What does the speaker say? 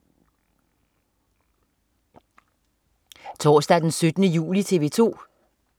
Torsdag den 17. juli - TV 2: